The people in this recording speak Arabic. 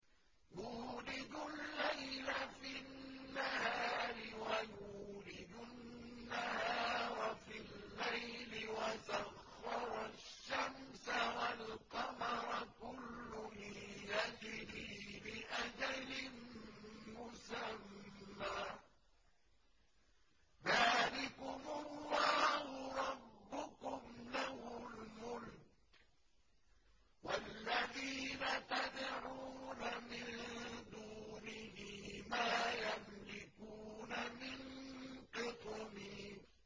يُولِجُ اللَّيْلَ فِي النَّهَارِ وَيُولِجُ النَّهَارَ فِي اللَّيْلِ وَسَخَّرَ الشَّمْسَ وَالْقَمَرَ كُلٌّ يَجْرِي لِأَجَلٍ مُّسَمًّى ۚ ذَٰلِكُمُ اللَّهُ رَبُّكُمْ لَهُ الْمُلْكُ ۚ وَالَّذِينَ تَدْعُونَ مِن دُونِهِ مَا يَمْلِكُونَ مِن قِطْمِيرٍ